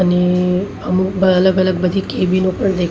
અને અમુક બા અલગ અલગ બધી કેબિનો પણ દેખ--